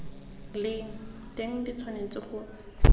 leng teng di tshwanetse go